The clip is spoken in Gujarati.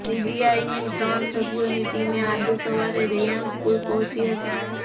સીબીઆઈની ત્રણ સભ્યોની ટીમે આજે સવારે રેયાન સ્કૂલ પહોંચી હતી